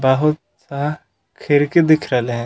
बहुत बा खिड़की दिख रहले हेय।